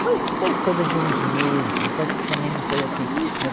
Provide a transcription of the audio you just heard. Foi, foi coisa de uns meses, acho que também não foi assim.